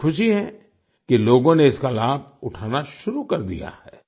मुझे खुशी है कि लोगों ने इसका लाभ उठाना शुरू कर दिया है